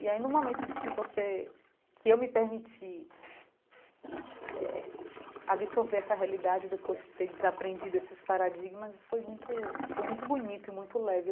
E aí, no momento de você que eu me permiti eh absorver essa realidade depois de ter desaprendido esses paradigmas, foi muito foi muito bonito e muito leve.